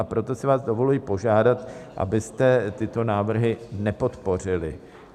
A proto si vás dovoluji požádat, abyste tyto návrhy nepodpořili.